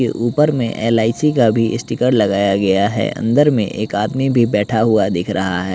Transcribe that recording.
के ऊपर में एल_आई_सी का भी इस्टीकर लगाया गया है अंदर में एक आदमी भी बैठा हुआ दिख रहा है।